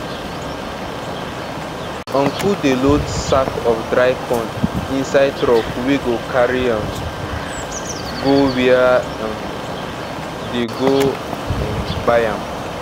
uncle dey load sack of dry corn inside truck wey go carry um go where um dey go um buy am